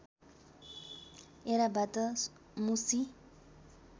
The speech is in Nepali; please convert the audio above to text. ऐराबाट मुसि